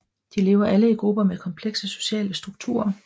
De lever alle i grupper med komplekse sociale strukturer